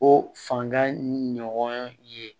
O fanga ɲɔgɔn ye